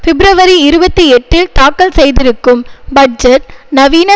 பிப்ரவரி இருபத்தி எட்டில் தாக்கல் செய்திருக்கும் பட்ஜெட் நவீன